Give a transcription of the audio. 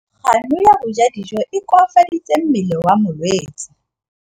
Kganô ya go ja dijo e koafaditse mmele wa molwetse.